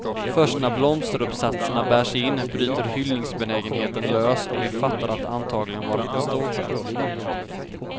Först när blomsteruppsatserna bärs in bryter hyllningsbenägenheten lös och vi fattar att det antagligen varit en stor kväll.